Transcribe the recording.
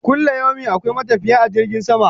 Kulayomi akwai matafiye a cikin jirgin sama